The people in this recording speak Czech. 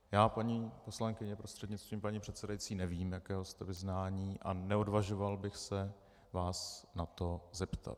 Já, paní poslankyně, prostřednictvím paní předsedající, nevím, jakého jste vyznání, a neodvažoval bych se vás na to zeptat.